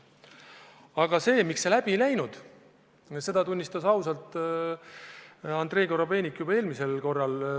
Seda, miks see ettepanek läbi ei läinud, tunnistas Andrei Korobeinik ausalt juba eelmisel korral.